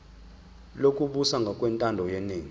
lokubusa ngokwentando yeningi